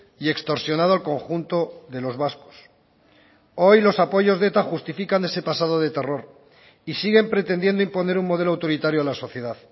y extorsionado al conjunto de los vascos hoy los apoyos de eta justifican ese pasado de terror y siguen pretendiendo imponer un modelo autoritario a la sociedad